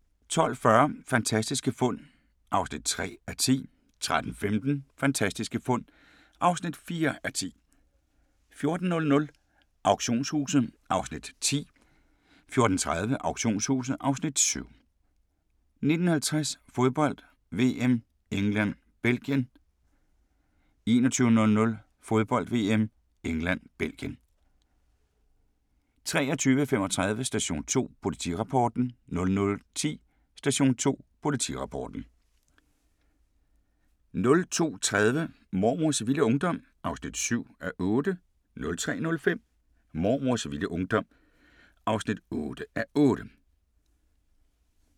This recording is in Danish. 12:40: Fantastiske fund (3:10) 13:15: Fantastiske fund (4:10) 14:00: Auktionshuset (Afs. 10) 14:30: Auktionshuset (Afs. 7) 19:50: Fodbold: VM - England-Belgien 21:00: Fodbold: VM - England-Belgien 23:35: Station 2: Politirapporten 00:10: Station 2: Politirapporten 02:30: Mormors vilde ungdom (7:8) 03:05: Mormors vilde ungdom (8:8)